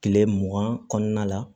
Kile mugan kɔnɔna la